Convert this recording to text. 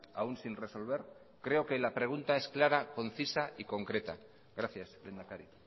aún sin resolver creo que la pregunta es clara concisa y concreta gracias lehendakari